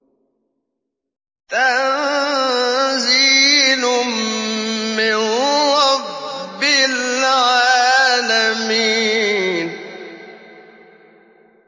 تَنزِيلٌ مِّن رَّبِّ الْعَالَمِينَ